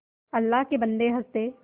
अल्लाह के बन्दे हंस दे